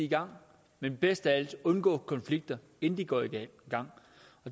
i gang men bedst af alt undgå konflikter inden de går i gang